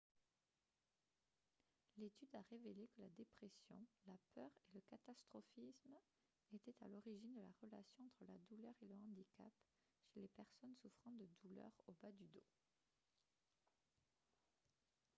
l'étude a révélé que la dépression la peur et le catastrophisme étaient à l'origine de la relation entre la douleur et le handicap chez les personnes souffrant de douleurs au bas du dos